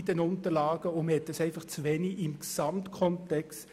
Man diskutierte es damals einfach zu wenig im Gesamtkontext.